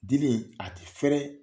Dili in a tɛ fɛrɛ,